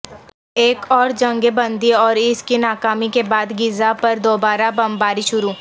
ایک اور جنگ بندی اور اس کی ناکامی کے بعد غزہ پر دوبارہ بمباری شروع